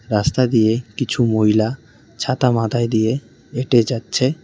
রাস্তা দিয়ে কিছু মহিলা ছাতা মাথায় দিয়ে হেঁটে যাচ্ছে।